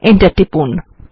enter টিপুন